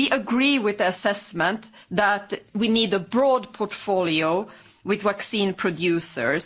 We agree with the assessment that we need a broad portfolio with vaccine producers.